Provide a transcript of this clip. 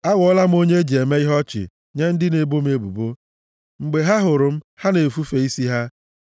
Aghọọla m onye e ji eme ihe ọchị nye ndị na-ebo m ebubo, mgbe ha hụrụ m, ha na-efufe isi ha.